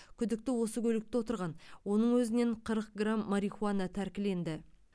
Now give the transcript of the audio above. күдікті осы көлікте отырған оның өзінен қырық грамм марихуана тәркіленді